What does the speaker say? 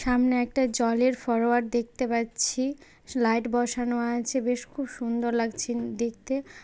সামনে একটা জলের ফরোয়ার দেখতে পাচ্ছি লাইট বসানো আছে বেশ খুব সুন্দর লাগছে দেখতে।